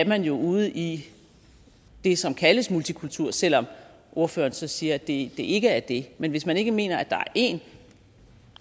man jo ude i det som kaldes multikultur selv om ordføreren så siger at det ikke er det men hvis man ikke mener at der er én